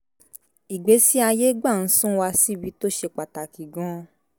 ìgbésí ayé gbà ń sún wa síbi tó ṣe pàtàkì gan - an